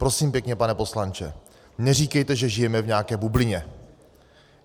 Prosím pěkně, pane poslanče, neříkejte, že žijeme v nějaké bublině.